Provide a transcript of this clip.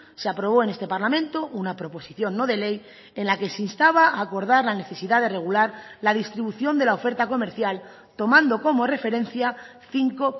se aprobó en este parlamento una proposición no de ley en la que se instaba a acordar la necesidad de regular la distribución de la oferta comercial tomando como referencia cinco